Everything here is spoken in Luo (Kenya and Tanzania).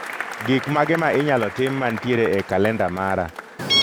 Gik mage ma inyalo tim mantiere e kalenda mara